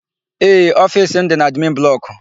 Ee, ofiisi m dị n'admin blọkụ.